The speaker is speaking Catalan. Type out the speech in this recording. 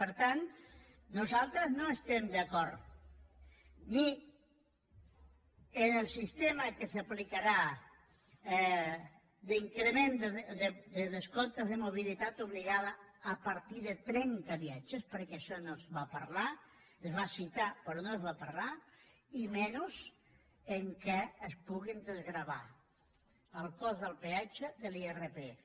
per tant nosaltres no estem d’acord ni en el sistema que s’aplicarà de descomptes de mobilitat obligada a partir de trenta viatges perquè d’això no se’n va parlar es va citar però no se’n va parlar i menys que es pugui desgravar el cost del peatge de l’irpf